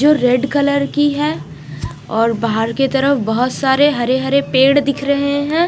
जो red colour की है और बाहर की तरफ बहुत सारे हरे हरे पेड़ दिख रहे है।